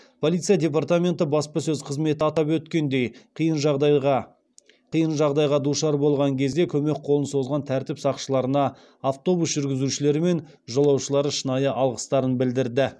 полиция департаменті баспасөз қызметі атап өткендей қиын жағдайға душар болған кезде көмек қолын созған тәртіп сақшыларына автобус жүргізушілері мен жолаушылары шынайы алғыстарын білдірді